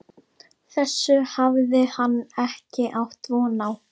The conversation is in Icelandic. Þessu hafði hann ekki átt von á.